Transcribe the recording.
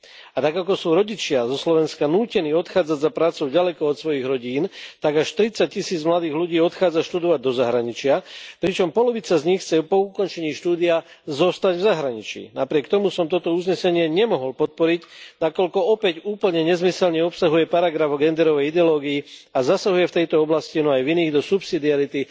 A tak, ako sú rodičia zo Slovenska nútení odchádzať za prácou ďaleko od svojich rodín, tak až tridsaťtisíc mladých ľudí odchádza študovať do zahraničia, pričom polovica z nich chce po ukončení štúdia zostať v zahraničí. Napriek tomu som toto uznesenie nemohol podporiť, nakoľko opäť úplne nezmyselne obsahuje paragraf o genderovej ideológii a zasahuje v tejto oblasti, no aj v iných, do subsidiarity